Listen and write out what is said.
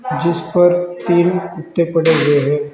जिस पर तीन कुत्ते पड़े हुए हैं।